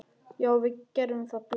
Já, við gerum það. Bless.